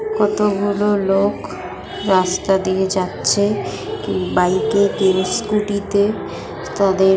কতগুলো লোক রাস্তা দিয়ে যাচ্ছে কেউ বাইক - এ কেউ স্কুটি - তে তাদের --